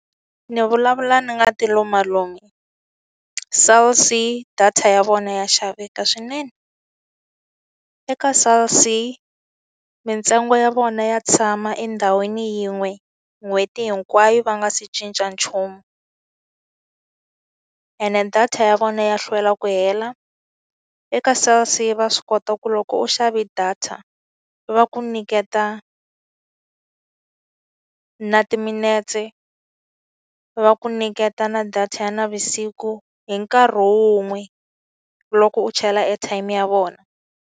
Ni vulavula ni nga ti lumalumi Cell C data ya vona ya xaveka swinene. Eka Cell C mintsengo ya vona ya tshama endhawini yin'we n'hweti hinkwayo va nga se cinca nchumu, ene data ya vona ya hlwela ku hela. Eka Cell C va swi kota ku loko u xave data, va ku nyiketa na timinetse, va ku nyiketa na data ya navusiku, hi nkarhi wun'we loko u chela airtime ya vona.